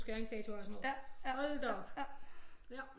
Skæringsdato og sådan noget hold da op